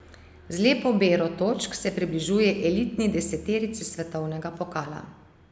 Z lepo bero točk se približuje elitni deseterici svetovnega pokala.